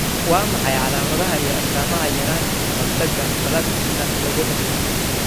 Waa maxay calaamadaha iyo astaamaha yaranta kahortaga plasminka, lagu dhasho?